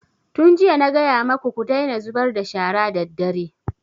Tun jiya na gaya maku ku daina zubar da shara daddare!